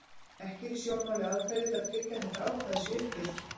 Ekki eru í sjónmáli aðferðir til að tryggja að þetta ákvæði sé uppfyllt.